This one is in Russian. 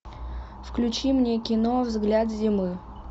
включи мне кино взгляд зимы